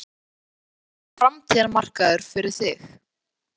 Þórhallur: Er þetta framtíðarmarkaður fyrir þig?